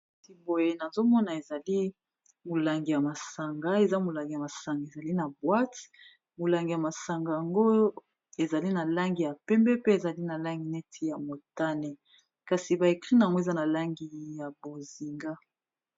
ati boye nazomona ezali molangi ya masanga eza molangi ya masanga ezali na bwate molangi ya masanga yango ezali na langi ya pembe pe ezali na langi neti ya motane kasi baekri namo eza na langi ya bozinga